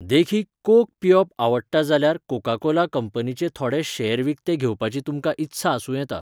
देखीक, कोक पियेवप आवडटा जाल्यार कोका कोला कंपनीचे थोडे शेअर विकते घेवपाची तुमकां इत्सा आसूं येता.